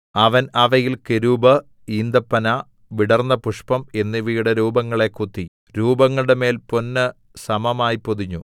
അവൻ അവയിൽ കെരൂബ് ഈന്തപ്പന വിടർന്നപുഷ്പം എന്നിവയുടെ രൂപങ്ങളെ കൊത്തി രൂപങ്ങളുടെമേൽ പൊന്ന് സമമായി പൊതിഞ്ഞു